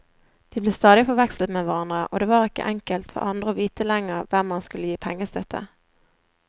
De ble stadig forvekslet med hverandre, og det var ikke enkelt for andre å vite lenger hvem man skulle gi pengestøtte.